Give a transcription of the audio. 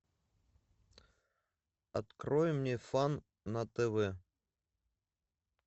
открой мне фан на тв